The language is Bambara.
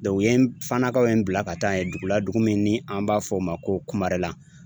u ye Fanakaw ye n bila ka taa yen dugu la dugu min ni an b'a fɔ o ma ko Kumarela